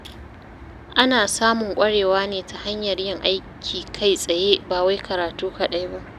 Ana samun ƙwarewa ne ta hanyar yin aiki kai-tsaye ba wai karatu kaɗai ba.